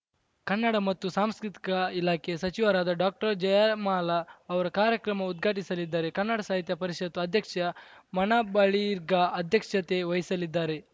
ಕನ್ನಡ ಮತ್ತು ಸಂಸ್ಕೃತಿಕ ಇಲಾಖೆ ಸಚಿವರಾದ ಡಾಕ್ಟರ್ಜಯಮಾಲಾ ಅವರು ಕಾರ್ಯಕ್ರಮ ಉದ್ಘಾಟಿಸಲಿದ್ದಾರೆ ಕನ್ನಡ ಸಾಹಿತ್ಯ ಪರಿಷತ್ತು ಅಧ್ಯಕ್ಷ ಮನುಬಳಿರ್ಗಾ ಅಧ್ಯಕ್ಷತೆ ವಹಿಸಲಿದ್ದಾರೆ